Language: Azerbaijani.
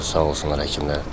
Şükür, sağ olsunlar həkimlər.